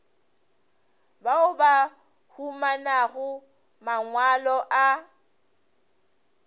bao ba humanago mangwalo a